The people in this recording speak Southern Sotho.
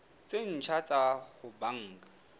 tse ntjha tsa ho banka